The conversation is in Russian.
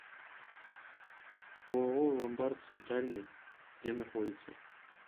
ооо ломбард центральный где находится